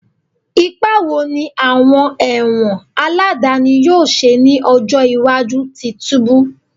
Ipa wo ni awọn ẹwọn aladani yoo ṣe ni ọjọ iwaju ti tubu?